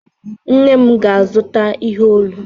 Nne m ga-azụta ihe olu.